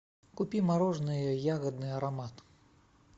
купи мороженое ягодный аромат